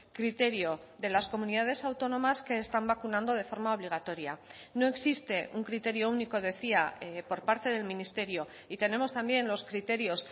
criterio de las comunidades autónomas que están vacunando de forma obligatoria no existe un criterio único decía por parte del ministerio y tenemos también los criterios